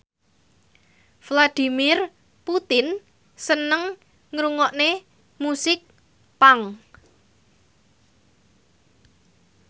Vladimir Putin seneng ngrungokne musik punk